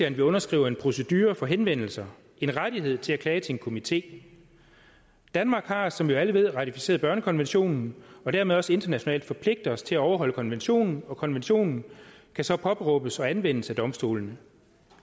at man underskriver en procedure for henvendelser en rettighed til at klage til en komité i danmark har vi som vi jo alle ved ratificeret børnekonventionen og dermed også internationalt forpligtet os til at overholde konventionen og konventionen kan så påberåbes og anvendes af domstolene